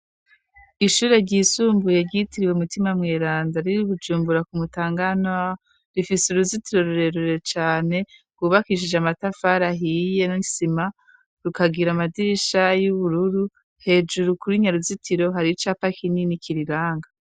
Ishure ryisumbuye ryitiriwe umutima mweranda riri Bujumbura ku mutanga rifise uruzitiro rurerure cyane ryubakishije amatafari ahiye nisima rukagira amadirisha y'ubururu hejuru kuri nyaruzitiro hari icapa kinini kiriranga.